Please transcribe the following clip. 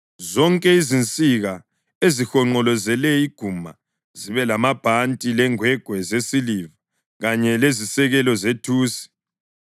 Zonke izinsika ezihonqolozele iguma zibe lamabhanti lengwegwe zesiliva kanye lezisekelo zethusi.